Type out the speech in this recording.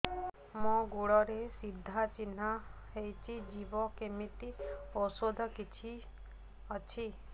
ମୋ ଗୁଡ଼ରେ ସାଧା ଚିହ୍ନ ହେଇଚି ଯିବ କେମିତି ଔଷଧ କିଛି ଅଛି